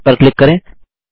yes पर click करें